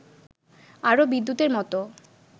আরো বিদ্যুতের মতো